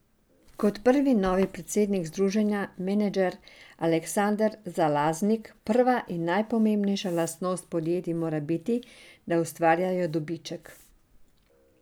Kot pravi novi predsednik Združenja Menedžer Aleksander Zalaznik, prva in najpomembnejša lastnost podjetij mora biti, da ustvarjajo dobiček.